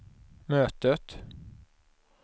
mötet